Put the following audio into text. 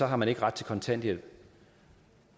har man ikke ret til kontanthjælp